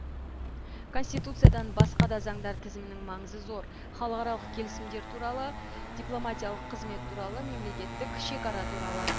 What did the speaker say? конституциядан басқа да заңдар тізімінің маңызы зор халықаралық келісімдер туралы дипломатиялық қызмет туралы мемлекеттік шекара туралы